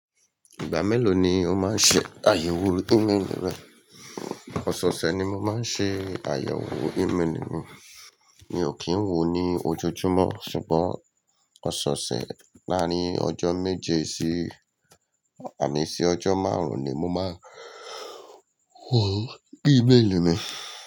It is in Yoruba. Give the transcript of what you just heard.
Ìgbà mélòó ni o máa ń ṣe àyẹ̀wò imeeli rẹ? Ọ̀soosẹ̀ ni mo máa ń ṣe àyẹ̀wò ímeèlì mi, mi ò kí ń woo ní ojoojúmọ́ ṣùgbọ́n ọ̀soosẹ̀ láàárín ọjọ́ méje sí ànì sí ọjọ́ márùn-ún ni mo máa ń wọ imeeli mi.